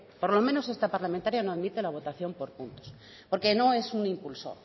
por lo menos esta parlamentaria no admite la votación por puntos porque no es un impulso